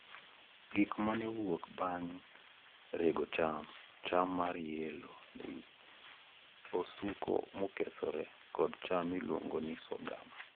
Gik ma ne owuok bang' rego cham, cham mar yellow maize, osuku mokethore, kod cham miluongo ni sorghum